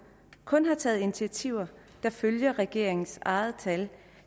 kun har taget initiativer der ifølge regeringens egne tal